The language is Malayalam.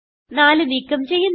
4 നീക്കം ചെയ്യുന്നു